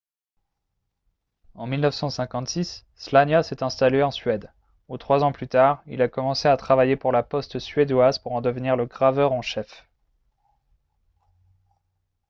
en 1956 słania s'est installé en suède où trois ans plus tard il a commencé à travailler pour la poste suédoise pour en devenir le graveur en chef